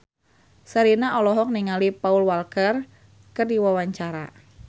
Sherina olohok ningali Paul Walker keur diwawancara